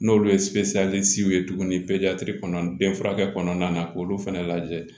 N'olu ye ye tuguni den furakɛ kɔnɔna na k'olu fana lajɛ